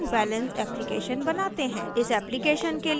इस application के लिए हमें सक्षम होना चाहिए